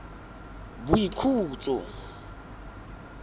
boikhutso